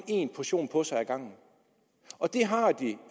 en portion på sig ad gangen og det har de